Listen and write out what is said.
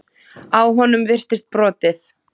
Á honum virtist brotið.